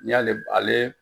N'i y'ale ale